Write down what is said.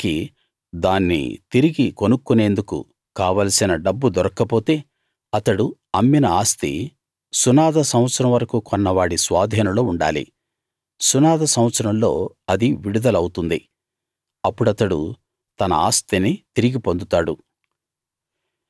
అతనికి దాని తిరిగి కొనుక్కునేందుకు కావలసిన డబ్బు దొరక్క పోతే అతడు అమ్మిన ఆస్తి సునాద సంవత్సరం వరకూ కొన్న వాడి స్వాధీనంలో ఉండాలి సునాద సంవత్సరంలో అది విడుదల అవుతుంది అప్పుడతడు తన ఆస్తిని తిరిగి పొందుతాడు